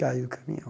Caí do caminhão.